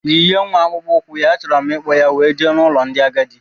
Yinye nwa akpụkpọ ukwu ya, a chọrọ m ikpo ya wee jee n' ụlọ ndị agadi!!!